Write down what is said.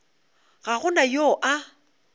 ga go na yo a